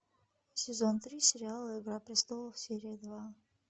сезон три сериала игра престолов серия два